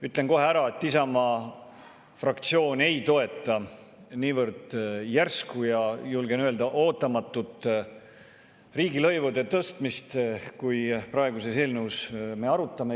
Ütlen kohe ära, et Isamaa fraktsioon ei toeta niivõrd järsku, ja julgen öelda, ootamatut riigilõivude tõstmist, kui me praeguses eelnõus arutame.